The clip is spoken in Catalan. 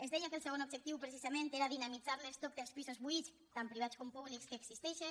es deia que el segon objectiu precisament era dinamitzar l’estoc dels pisos buits tant privats com públics que existeixen